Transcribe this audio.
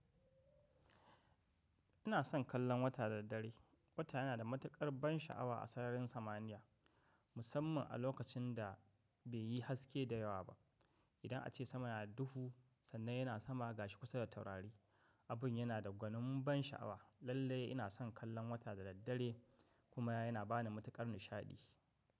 Ina son kallon wata da daddare. Wata yana da matuƙar ban sha'awa a sararin samaniya, musamman a lokacin da bai yi haske da yawa ba. Idan ace sama na duhu sannan yana sama gashi kusa da taurari, abin yana da gwanin ban sha'awa. Lallai ina son kallon wata da daddare kuma yana bani matuƙar nishaɗi.